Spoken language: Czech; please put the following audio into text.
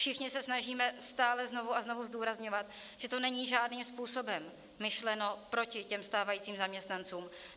Všichni se snažíme stále znovu a znovu zdůrazňovat, že to není žádným způsobem myšleno proti těm stávajícím zaměstnancům.